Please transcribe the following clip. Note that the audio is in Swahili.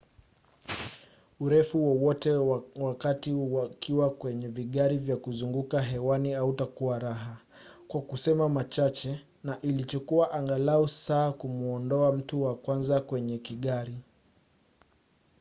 urefu wowote wa wakati ukiwa kwenye vigari vya kuzunguka hewani hautakuwa raha kwa kusema machache na ilichukua angalau saa kumuondoa mtu wa kwanza kwenye kigari.